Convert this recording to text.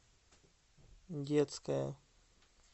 детская